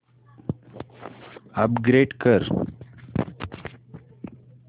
upgrade कर